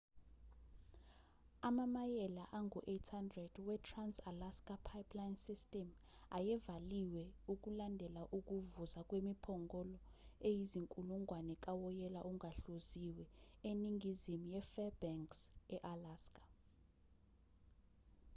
amamayela angu-800 wetrans-alaska pipeline system ayevaliwe ukulandela ukuvuza kwemiphongolo eyizinkulungwane kawoyela ongahluziwe eningizimu yefairbanks e-alaska